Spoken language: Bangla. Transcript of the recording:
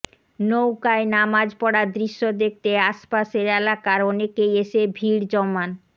নৌকায় নামাজ পড়ার দৃশ্য দেখতে আশপাশের এলাকার অনেকেই এসে ভিড় জমান